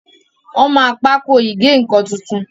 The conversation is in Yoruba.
wón má Pákò ìgé-nǹkan títún.